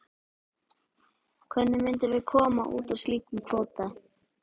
Hvernig myndum við koma út úr slíkum kvóta?